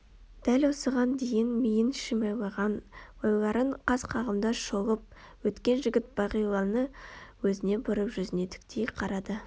дәл осыған дейін миын шимайлаған ойларын қас-қағымда шолып өткен жігіт бағиланы өзіне бұрып жүзіне тіктей қарады